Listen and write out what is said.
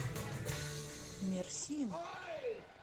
мерсин